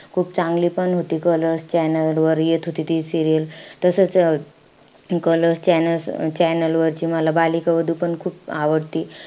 खूप चांगलीपण होती. कलर्स चॅनेल वर येत होती ती serial. तसंच अं colors channels channel वरची बालिका वधू पण मला खूप आवडते.